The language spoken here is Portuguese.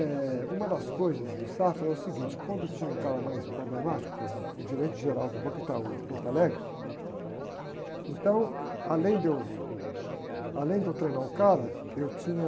Eh, uma das coisas do Safra é o seguinte, quando tinha um cara mais problemático, por exemplo, um gerente geral do Banco Itaú de Porto Alegre, então, eu, além de eu treinar o cara, eu tinha...